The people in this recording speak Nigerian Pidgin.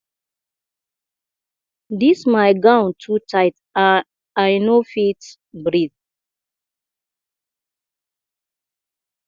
dis my gown too tight and i no fit breath